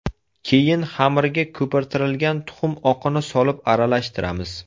Keyin xamirga ko‘pirtirilgan tuxum oqini solib aralashtiramiz.